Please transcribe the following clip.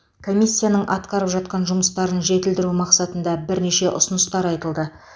комиссияның атқарып жатқан жұмыстарын жетілдіру мақсатында бірнеше ұсыныстар айтылды